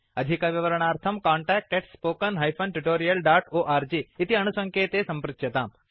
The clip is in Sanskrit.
अधिकविवरणार्थं कान्टैक्ट् spoken tutorialorg इति अणुसङ्केते सम्पृच्यताम्